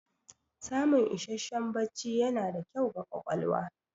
Samun isasshen bacci yana da kyau ga ƙwaƙwalwa.